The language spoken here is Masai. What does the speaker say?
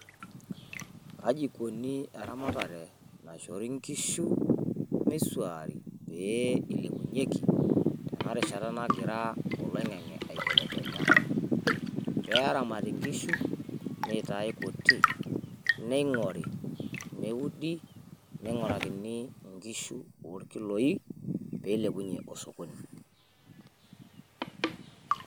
Kaji ikoni eramatare naishori inkushi misuaari pee ilepunyeki te na rishata nagira oloing'ang'e aibelekenya peramati nkishu nitaii kuti nkishu olkiloi peilepunyie osokoni.